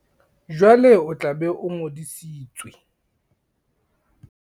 Jwale o tla be o ngodisitswe.